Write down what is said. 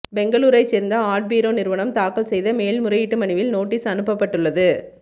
பெங்களூரைச் சேர்ந்த ஆட்பீரோ நிறுவனம் தாக்கல் செய்த மேல்முறையீட்டு மனுவில் நோட்டீஸ் அனுப்பப்பட்டுள்ளது